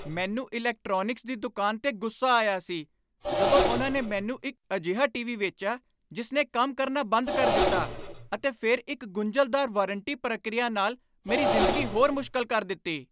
ਮੈਨੂੰ ਇਲੈਕਟ੍ਰੌਨਿਕਸ ਦੀ ਦੁਕਾਨ ਤੇ ਗੁੱਸਾ ਆਈਆ ਸੀ ਜਦੋਂ ਉਨ੍ਹਾਂ ਨੇ ਮੈਨੂੰ ਇੱਕ ਅਜਿਹਾ ਟੀਵੀ ਵੇਚਿਆ ਜਿਸ ਨੇ ਕੰਮ ਕਰਨਾ ਬੰਦ ਕਰ ਦਿੱਤਾ ਅਤੇ ਫਿਰ ਇੱਕ ਗੁੰਝਲਦਾਰ ਵਾਰੰਟੀ ਪ੍ਰਕਿਰਿਆ ਨਾਲ ਮੇਰੀ ਜ਼ਿੰਦਗੀ ਹੋਰ ਮੁਸ਼ਕਲ ਕਰ ਦਿੱਤੀ।